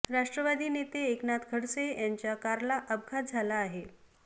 राष्ट्रवादीचे नेते एकनाथ खडसे यांच्या कारला अपघात झाला आहे